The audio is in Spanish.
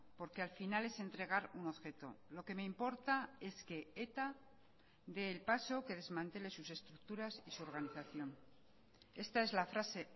porque al final es entregar un objeto lo que me importa es que eta dé el paso que desmantele sus estructuras y su organización esta es la frase